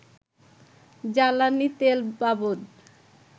জ্বালানি তেলবাবদ